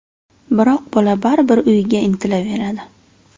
Biroq bola baribir uyiga intilaveradi.